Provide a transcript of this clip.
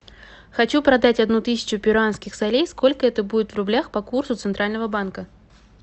хочу продать одну тысячу перуанских солей сколько это будет в рублях по курсу центрального банка